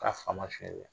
K'a faama feere la